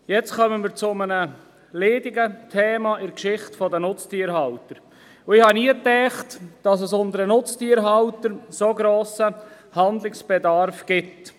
Jetzt kommen wir zu einem leidigen Thema in der Geschichte der Nutztierhalter, und ich habe nie gedacht, dass es bei den Nutztierhaltern so grossen Handlungsbedarf gibt.